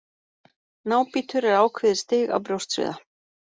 Nábítur er ákveðið stig af brjóstsviða.